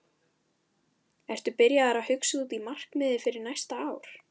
Ertu byrjaður að hugsa út í markmið fyrir næsta ár?